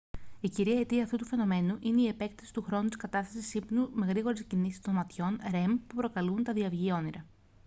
η κύρια αιτία αυτού του φαινομένου είναι η επέκταση του χρόνου της κατάστασης ύπνου με γρήγορες κινήσεις των ματιών rem που προκαλούν τα διαυγή όνειρα